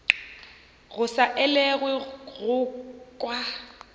go sa elwego go kwa